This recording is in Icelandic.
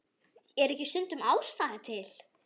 Er ekki stundum ástæða til?